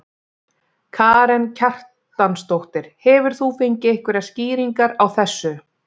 Karen Kjartansdóttir: Hefur þú fengið einhverjar skýringar á þessu?